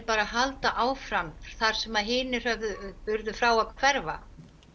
bara að halda áfram þar sem hinir höfðu frá að hverfa